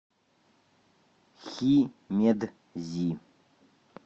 химедзи